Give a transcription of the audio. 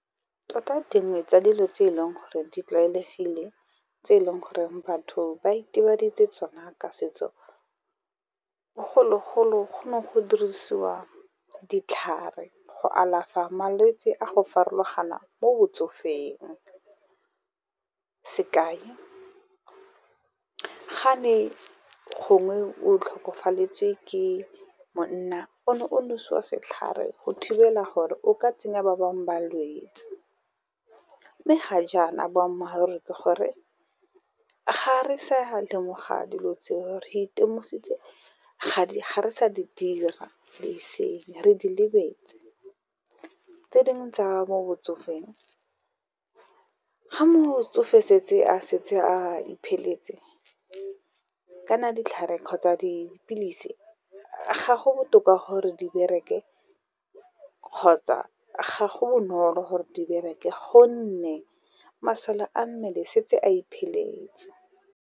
Tota dingwe tsa dilo tse eleng gore di tlwaelegile tse eleng gore batho ba itebaditse tsona ka setso, bogologolo go ne go dirisiwa ditlhare go alafa malwetse a go farologana mo botsofeng. Sekai ga ne gongwe o tlhokafaletswe ke monna o ne o nosiwa setlhare go thibela gore o ka tsenya ba bangwe balwetse. Mme ga jaana boammaaruri ke gore ga re sa lemoga dilo tseo re itemogetse ga re sa di dira le eseng re di lebetse. Tse dingwe tsa mo botsofeng, ga motsofe setse a setse a ipheletse kana ditlhare kgotsa dipilisi ga go botoka gore di bereke, kgotsa ga go bonolo gore di bereke gonne masole a mmele setse a ipheletse.